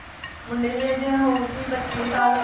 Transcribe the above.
ਮੁੰਡੇ ਦੀ age ਹੋਊਗੀ ਪੱਚੀ ਕ ਸਾਲ